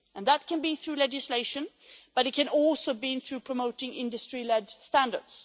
That can be through legislation, but it can also be through promoting industry led standards.